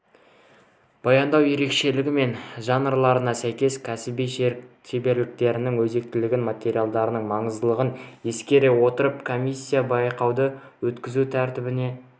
баяндау ерекшелігі мен жанрларына сәйкес кәсіби шеберліктерін өзектілігін материалдардың маңыздылығын ескере отырып комиссия байқауды өткізу тәртібіне